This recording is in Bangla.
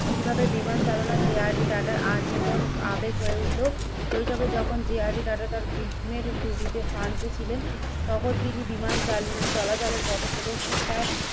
কিভাবে বিমান চালানো যে আর ডি টাটার আজীবন আবেগ হয়ে উঠল, শৈশবে যখন যে আর ডি টাটা তার গ্রীষ্মের ছুটিতে ফ্রান্সে ছিলেন। তখন তিনি বিমান চাল চলাচলের পথপ্রদর্শন তার